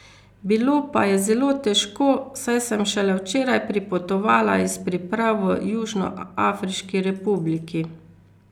Bilo pa je zelo težko, saj sem šele včeraj pripotovala iz priprav v Južnoafriški republiki.